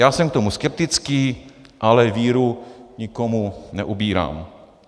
Já jsem k tomu skeptický, ale víru nikomu neubírám.